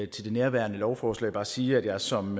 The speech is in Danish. til det herværende lovforslag bare sige at jeg som